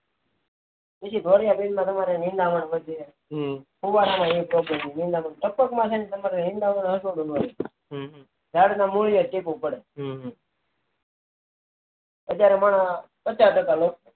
પછી મોટા એરડા માં તમારે નિદામણ વધે હમ ફુવારા માં નિદામણ વધે ટપક માટે નિદામણ હોતું નથી હમ જાડના મુળિયા અત્યારે મણ પચા ટકા